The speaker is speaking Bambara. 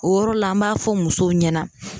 O yɔrɔ la an b'a fɔ musow ɲɛna